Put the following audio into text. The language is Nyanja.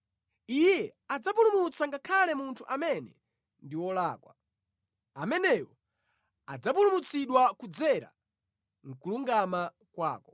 Iye adzapulumutsa ngakhale munthu amene ndi wolakwa, ameneyo adzapulumutsidwa kudzera mʼkulungama kwako.”